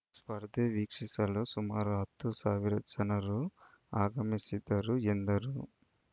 ಸ್ಪರ್ಧೆ ವೀಕ್ಷಿಸಲು ಸುಮಾರು ಹತ್ತು ಸಾವಿರ ಜನರು ಆಗಮಿಸಿದ್ದರು ಎಂದರು